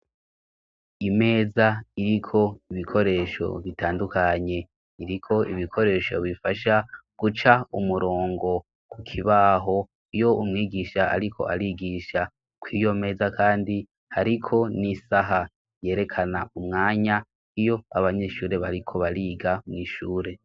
Imeza iriko ibikoresho bitandukanye iriko ibikoresho bifasha guca umurongo ku kibaho iyo umwigisha, ariko arigisha ko iyo meza, kandi, ariko n'isaha yerekana umwanya iyo abanyeshure bariko bariga mw'ishura.